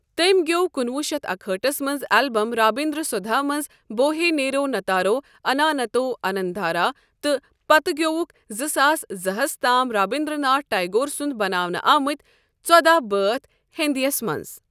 تٔمۍ گٮ۪و کُنوُہ شیتھ اکہٲٹھس منٛز البم رابندر سودھا منٛز 'بوہے نیرونتارو انانتو آننددھارا' تہٕ پتہٕ گٮ۪وُکھ زٕ ساس زٕ ہَس تام رابندر ناتھ ٹیگور سنٛد بناونہٕ آمٕت ژوداہ بٲتھ ہندیَس منٛز۔